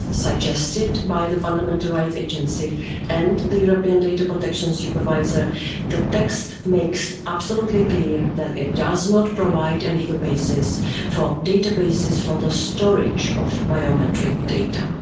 As suggested by the Fundamental Rights Agency and the European Data Protection Supervisor, the text makes it absolutely clear that it does not provide a legal basis for databases for the storage of biometric data.